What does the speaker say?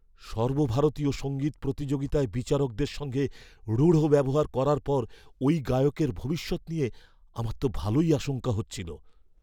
সর্বভারতীয় সঙ্গীত প্রতিযোগিতায় বিচারকদের সঙ্গে রূঢ় ব্যবহার করার পর ওই গায়কের ভবিষ্যৎ নিয়ে আমার তো ভালোই আশঙ্কা হচ্ছিল।